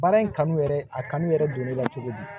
Baara in kanu yɛrɛ a kanu yɛrɛ don ne la cogo di